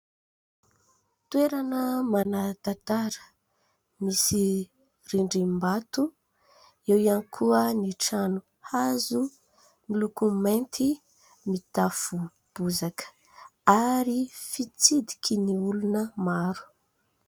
Toerana manan-tantara. Misy rindrim-bato. Eo ihany koa ny trano hazo miloko mainty, mitafo bozaka, ary fitsidiky ny olona maro.